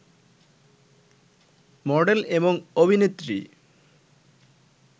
model, এবং অভিনেত্রী